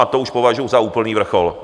A to už považuji za úplný vrchol.